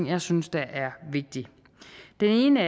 jeg synes der er vigtige den ene